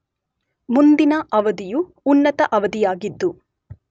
ಮುಂದಿನ ಅವಧಿಯು ಉನ್ನತ ಅವಧಿಯಾಗಿದ್ದು